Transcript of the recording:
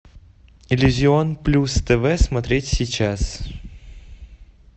иллюзион плюс тв смотреть сейчас